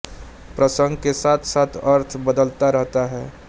प्रसंग के साथ साथ अर्थ बदलता रहता है